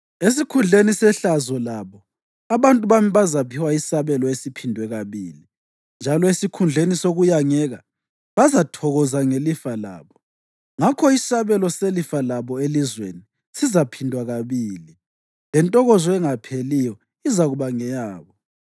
Esikhundleni sehlazo labo abantu bami bazaphiwa isabelo esiphindwe kabili, njalo esikhundleni sokuyangeka bazathokoza ngelifa labo; ngakho isabelo selifa labo elizweni sizaphindwa kabili, lentokozo engapheliyo izakuba ngeyabo.